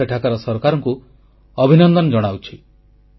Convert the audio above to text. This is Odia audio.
ମୁଁ ସେଠାକାର ସରକାରଙ୍କୁ ଅଭିନନ୍ଦନ ଜଣାଉଛି